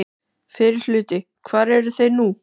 Fyrri hluti Hvar eru þeir nú?